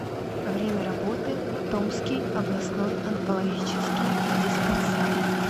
время работы томский областной онкологический диспансер